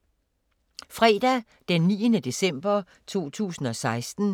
Fredag d. 9. december 2016